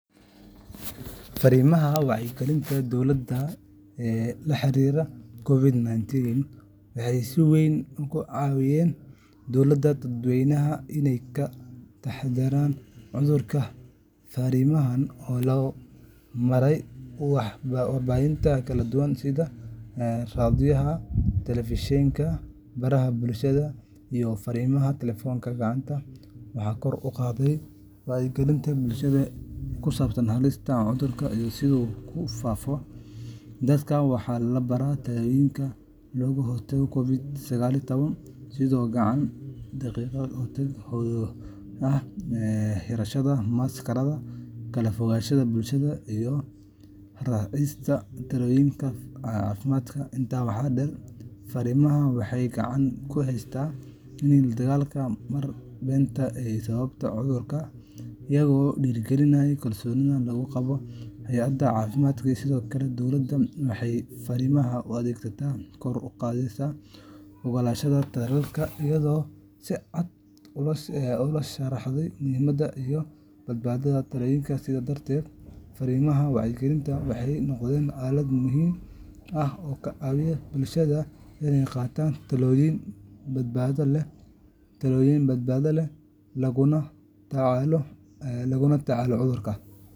Fariimaha wacyigelinta dowladda ee la xiriiray COVID-19 waxay si weyn uga caawiyeen dadweynaha inay ka taxadaraan cudurka. Fariimahan oo loo maray warbaahinta kala duwan sida raadiyaha, telefishinka, baraha bulshada, iyo fariimaha taleefanka gacanta, waxay kor u qaadeen wacyiga bulshada ee ku saabsan halista cudurka iyo sida uu u faafayo. Dadka waxaa la baray tallaabooyinka looga hortago COVID-19 sida gacan dhaqidda joogtada ah, xirashada maaskarada, kala fogaanshaha bulshada, iyo raacista talooyinka caafimaad. Intaa waxaa dheer, fariimahan waxay gacan ka geysteen la dagaallanka wararka beenta ah ee ku saabsan cudurka, iyagoo dhiirrigeliyay kalsoonida lagu qabo hay’adaha caafimaadka. Sidoo kale, dowladda waxay fariimaha u adeegsatey kor u qaadista oggolaanshaha tallaalka, iyadoo si cad loo sharraxay muhiimadda iyo badbaadada tallaalka. Sidaas darteed, fariimaha wacyigelinta waxay noqdeen aalad muhiim ah oo ka caawisay bulshada inay qaataan tallaabooyin badbaado leh oo lagula tacaalo cudurka.